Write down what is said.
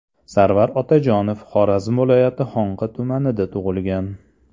Sarvar Otajonov Xorazm viloyati Xonqa tumanida tug‘ilgan.